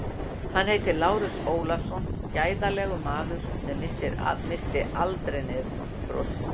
Hann heitir Lárus Ólafsson, gæðalegur maður sem missir aldrei niður brosið.